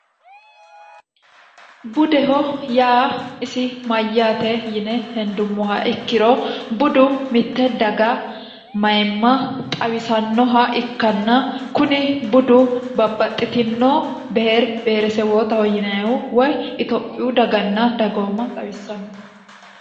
budeho yaa isi mayyaate yine hendummoha ikkiro budu mitte daga mayimma xawisannoha ikkanna kuni budu babbaxxitinoo beeri beeresewootaho yineehu woy itophiyu daganna dagooma xawissanno